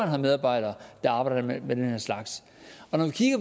har medarbejdere der arbejder med den her slags og når